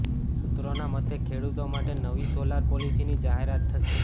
સૂત્રોના મતે ખેડૂતો માટે નવી સોલાર પોલિસીની જાહેરાત થશે